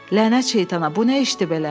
Lənət şeytana, bu nə işdir belə?